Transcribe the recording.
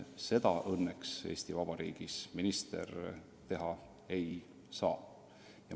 Seda õnneks Eesti Vabariigis minister teha ei saa.